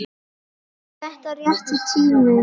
Er þetta rétti tíminn?